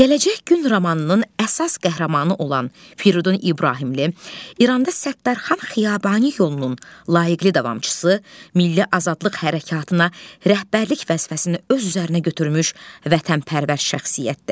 Gələcək gün romanının əsas qəhrəmanı olan Firidun İbrahimli İranda Səttarxan Xiyabani yolunun layıqli davamçısı, milli azadlıq hərəkatına rəhbərlik vəzifəsini öz üzərinə götürmüş vətənpərvər şəxsiyyətdir.